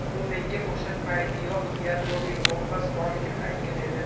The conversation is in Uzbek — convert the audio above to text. U menga o‘sha paytiyoq yadroviy bombasi borligini aytgan edi.